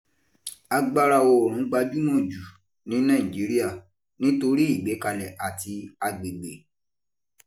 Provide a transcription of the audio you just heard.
Agbára oòrùn gbajúmọ̀ jù ní Nàìjíríà nítorí ìgbékalẹ̀ àti agbègbè